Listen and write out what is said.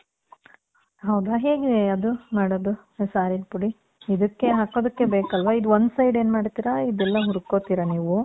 ಹೌದಾ. ಹೇಗೆ ಅದು ಮಾಡೋದು, ಸಾರಿನ್ ಪುಡಿ? ಇದಕ್ಕೆ ಹಾಕೋದಕ್ಕೆ ಬೇಕಲ್ವ. ಇದು one side ಏನ್ ಮಾಡಿರ್ತೀರ, ಇದೆಲ್ಲ ಹುರ್ಕೊತೀರ ನೀವು.